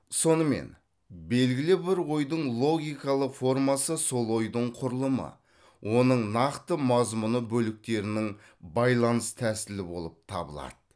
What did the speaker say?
сонымен белгілі бір ойдың логикалық формасы сол ойдың құрылымы оның нақты мазмұны бөліктерінің байланыс тәсілі болып табылады